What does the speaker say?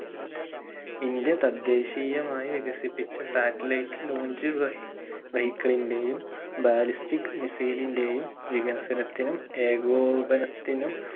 India തദ്ദേശീയമായി വികസിപ്പിച്ച satellite launch വഹി vehicle ഇൻറെയും ballistic missile ഇൻറെയും വികസനത്തിനും ഏകോപനത്തിനും